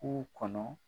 K'u kɔnɔ